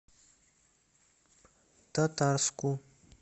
татарску